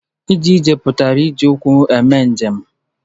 Ije ije pụtara ije ụkwụ eme njem.